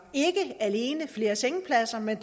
flere sengepladser men